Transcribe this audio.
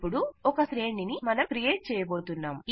ఇపుడు ఒక శ్రేణిని మనం క్రియేట్ చేయబోతున్నాం